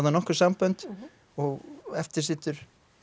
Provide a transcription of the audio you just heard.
nokkur sambönd og eftir situr